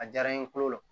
A diyara n ye kolo la